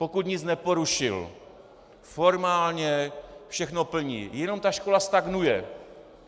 Pokud nic neporušil, formálně všechno plní, jenom ta škola stagnuje.